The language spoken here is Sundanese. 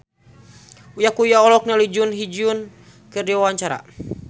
Uya Kuya olohok ningali Jun Ji Hyun keur diwawancara